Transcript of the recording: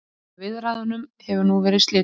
Jón fyrir forseta ríkisráðsins.